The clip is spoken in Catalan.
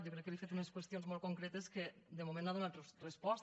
jo crec que li he fet unes qüestions molt concretes que de moment no hi ha donat resposta